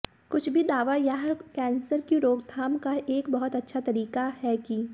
कुछ भी दावा यह कैंसर की रोकथाम का एक बहुत अच्छा तरीका है कि